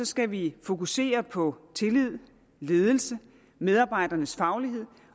skal vi fokusere på tillid ledelsen og medarbejdernes faglighed